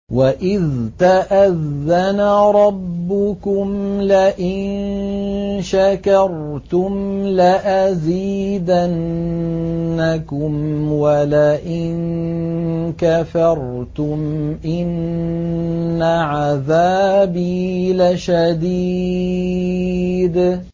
وَإِذْ تَأَذَّنَ رَبُّكُمْ لَئِن شَكَرْتُمْ لَأَزِيدَنَّكُمْ ۖ وَلَئِن كَفَرْتُمْ إِنَّ عَذَابِي لَشَدِيدٌ